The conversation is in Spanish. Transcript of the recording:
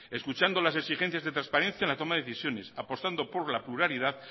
escuchando las exigencias de trasparencia en la toma de decisiones apostando por la pluralidad